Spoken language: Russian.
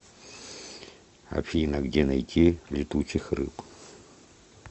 афина где найти летучих рыб